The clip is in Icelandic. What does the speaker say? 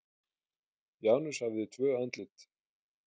Janus hafði tvö andlit.